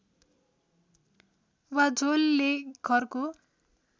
वा झोलले घरको